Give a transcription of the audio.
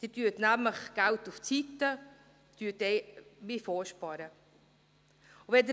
Sie legen nämlich Geld zur Seite, Sie sparen vor.